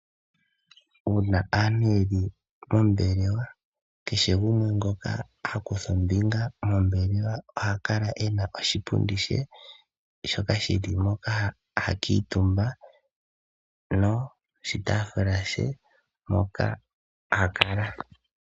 Uuna aantu ye li mombelewa kehe gumwe ngoka ha kutha ombinga mombelewa oha kala ena oshipundi she shoka shili moka ha kuutumba noshitaafula she moka ha kala.